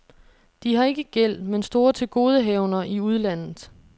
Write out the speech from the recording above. De har ikke gæld, men store tilgodehavender i udlandet.